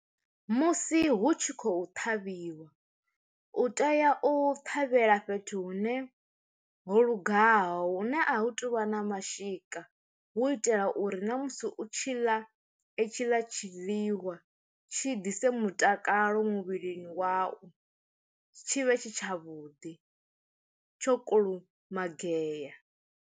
Musi hu tshi khou ṱhavhiwa, u tea u ṱhavhela fhethu hune ho lugaho hune a hu tuvha na mashika hu itela uri na musi u u tshi ḽa i tshi ḽa tshi ḽiwa tshi ḓise mutakalo muvhilini wau, tshi vhe tshi tshavhuḓi tsho kulumagea.